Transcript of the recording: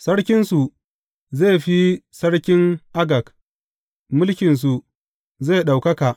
Sarkinsu zai fi sarkin Agag; mulkinsu zai ɗaukaka.